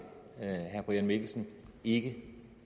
herre brian mikkelsen ikke